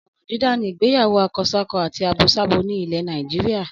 Ọ̀ràn dídá ni ìgbéyàwó akọsákọ àti abosábo ni nílẹ̀ Nàìjíríà.